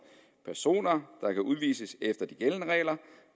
personer der kan udvises efter de gældende regler